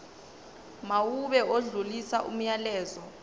mawube odlulisa umyalezo